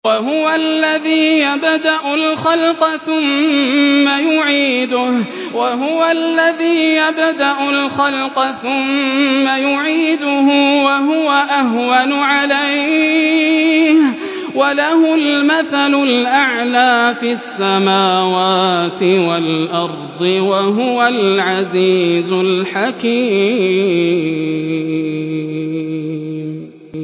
وَهُوَ الَّذِي يَبْدَأُ الْخَلْقَ ثُمَّ يُعِيدُهُ وَهُوَ أَهْوَنُ عَلَيْهِ ۚ وَلَهُ الْمَثَلُ الْأَعْلَىٰ فِي السَّمَاوَاتِ وَالْأَرْضِ ۚ وَهُوَ الْعَزِيزُ الْحَكِيمُ